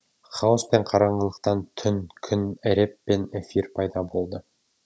хаоспен қараңғылықтан түн күн эреб пен эфир пайда болды